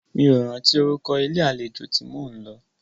Mí ò rántí orúkọ ilé àlejò tí mó ń lọ.